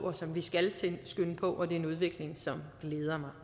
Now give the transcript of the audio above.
og som vi skal skønne på og det er en udvikling som glæder mig